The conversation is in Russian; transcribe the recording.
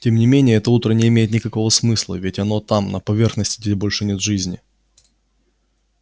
тем не менее это утро не имеет никакого смысла ведь оно там на поверхности где больше нет жизни